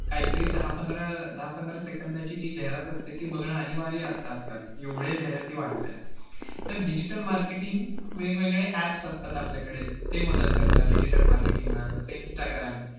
काहीतरी दहा पंधरा~ दहा पंधरा second ची जी जाहिरात असते ती बघणं अनिवार्य असतं आजकाल एवढे जाहिराती वाढलेल्या आहेत. तर digital marketing वेगवेगळे apps असतात आपल्याकडे ते मदत करतात digital marketing ना जस इनस्टाग्राम